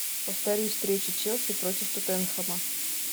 повтори встречу челси против тоттенхэма